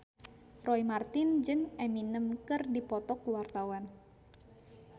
Roy Marten jeung Eminem keur dipoto ku wartawan